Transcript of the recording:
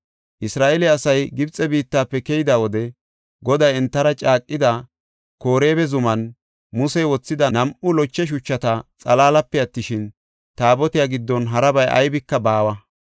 Isra7eele asay Gibxe biittafe keyida wode Goday entara caaqida Koreeba zuman Musey wothida nam7u loche shuchata xalaalape attishin, Taabotiya giddon harabay aybika baawa.